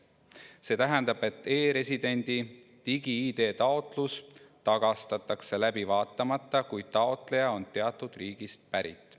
See tähendab, et e‑residendi digi‑ID taotlus tagastatakse läbi vaatamata, kui taotleja on teatud riigist pärit.